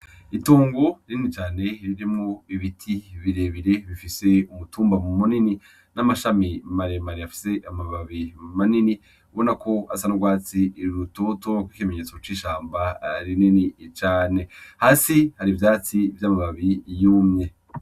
Itongo rinini cane ririmwo ibiti birebire bifise umutumba munini n'amashami maremare afise amababi manini ubanako asa n'urwatsi rutoto nk'ikimenyetso c'ishamba rinini cane hasi hari ivyatsi vy'amababi yumye.